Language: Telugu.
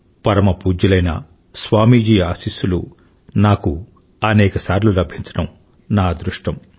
పరమ పూజ్యులైన స్వామీజీ అశీస్సులు నాకు అనేక సార్లు లభించడం నా అదృష్టం